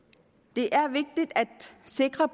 det er vigtigt at sikre